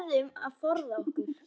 Við verðum að forða okkur.